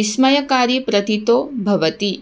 विस्मयकारी प्रतीतो भवति